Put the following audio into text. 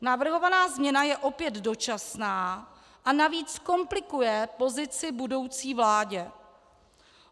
Navrhovaná změna je opět dočasná a navíc komplikuje pozici budoucí vládě.